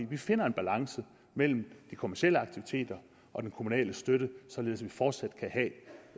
vi finder en balance mellem de kommercielle aktiviteter og den kommunale støtte således at vi fortsat kan